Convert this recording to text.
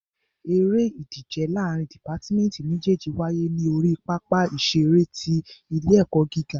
Eré ìdíje láàrín dìpátmẹ́tì méjèjì wáyé ní orí pápá ìṣeré ti ilé ẹ̀kọ́ gíga.